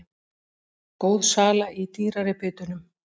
Góð sala í dýrari bitunum